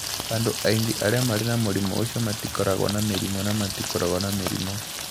Andũ aingĩ arĩa marĩ na mũrimũ ũcio matikoragwo na mĩrimũ na matikoragwo na mĩrimũ.